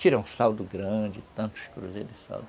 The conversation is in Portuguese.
Tira um saldo grande, tantos cruzeiros de saldo.